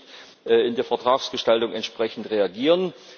Sollten wir nicht in der Vertragsgestaltung entsprechend reagieren?